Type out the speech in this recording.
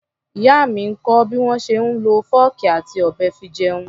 Ìyá mi ń kọ́ bí wọ́n ṣe ń lọ fọ́ọ̀kì àti ọ̀bẹ fi jẹun.